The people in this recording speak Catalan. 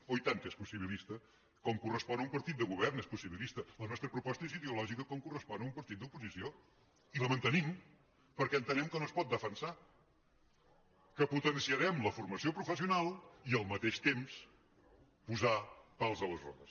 oh i tant que és possibilista com correspon a un partit de govern és possibilista la nostra proposta és ideològica com correspon a un partit d’oposició i la mantenim perquè entenem que no es pot defensar que potenciarem la formació professional i al mateix temps posar pals a les rodes